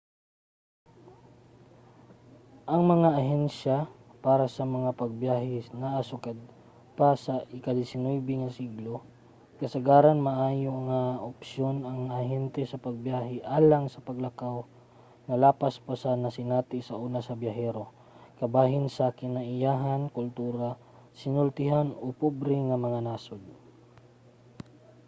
ang mga ahensiya para sa pagbiyahe naa na sukad pa sa ika-19 nga siglo. kasagaran maayo nga opsyon ang ahente sa pagbiyahe alang sa paglakaw nga lapas pa sa nasinati sauna sa biyahero kabahin sa kinaiyahan kultura sinultian o pobre nga mga nasud